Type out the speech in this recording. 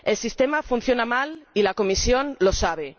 El sistema funciona mal y la Comisión lo sabe.